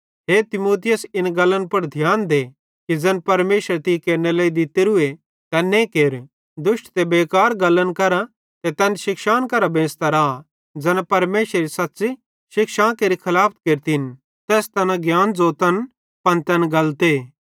हे तीमुथियुस इस गल्ली पुड़ ध्यान दे कि ज़ैन परमेशरे तीं केरनेरे लेइ दित्तोरूए तैन्ने केर दुष्ट ते बेकार गल्लन करां ते तैन शिक्षान करां बेंच़ता रा ज़ैना परमेशरेरी सच़्च़ी शिक्षां केरि खलाफत केरतन तैस तैना ज्ञान ज़ोतन पन तैन गलते